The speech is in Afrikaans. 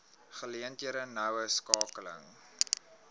geleenthede noue skakeling